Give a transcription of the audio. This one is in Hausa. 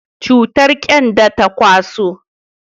cutar kyanda ta kwaso